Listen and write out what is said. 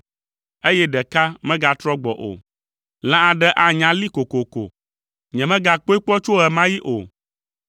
eye ɖeka megatrɔ gbɔ o: lã aɖe anya lée kokoko; nyemegakpɔe kpɔ tso ɣe ma ɣi o.